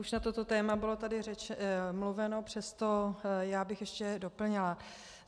Už na toto téma bylo tady mluveno, přesto bych to ještě doplnila.